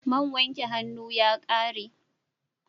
Man wanke hannu ya ƙare.